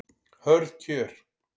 Hörð kjör